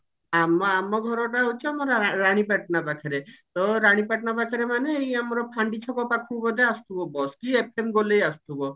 ଆମ ଆମ ଘରଟା ହଉଛି ଆମର ରାଣୀପାଟଣା ପାଖରେ ତ ରାଣୀପାଟଣା ପାଖରେ ମାନେ ଏଇ ଆମର ଫାଣ୍ଡି ଛକ ପାଖକୁ ବୋଧେ ଆସୁଥିବ bus କି FM ଗୋଲେଇ ଆସୁଥିବ